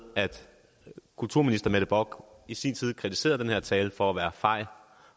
at kulturminister mette bock i sin tid kritiserede den her tale for at være fej